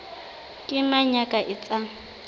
ke mang ya ka etsang